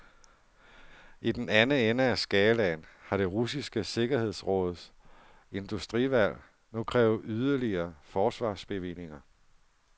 I den anden ende af skalaen har det russiske sikkerhedsråds industriudvalg nu krævet yderligere forsvarsbevillinger.